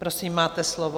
Prosím, máte slovo.